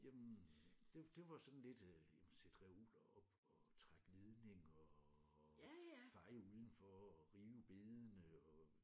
Jamen det det var sådan lidt øh jamen sætte reoler op og trække ledninger og feje udenfor og rive bedene og